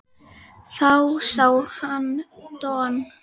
Þá sá hann Don